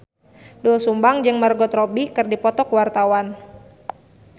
Doel Sumbang jeung Margot Robbie keur dipoto ku wartawan